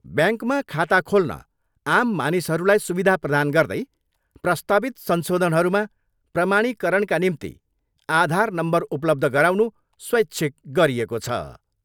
ब्याङ्कमा खाता खोल्न आम मानिसहरूलाई सुविधा प्रधान गर्दै प्रस्तावित संशोधनहरूमा प्रमाणीकरणका निम्ति आधार नम्बर उपलब्ध गराउनु स्वैच्छिक गरिएको छ।